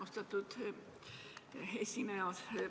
Austatud esineja!